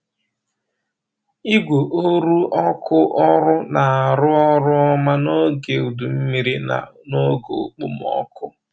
Igwe oru ọkụ ọrụ na-arụ ọrụ ọma n’oge udu mmiri na n’oge okpomọkụ.